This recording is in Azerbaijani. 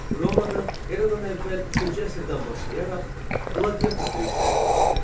Romada Eradan əvvəl üçüncü əsrdən başlayaraq qladiatör döyüşləri keçirilirdi.